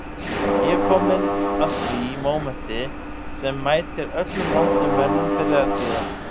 Ég er kominn að því mómenti sem mætir öllum vondum mönnum fyrr eða síðar